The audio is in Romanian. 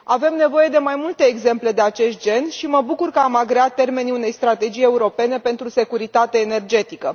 Avem nevoie de mai multe exemple de acest gen și mă bucur că am agreat termenii unei strategii europene pentru securitate energetică.